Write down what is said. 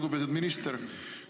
Lugupeetud minister!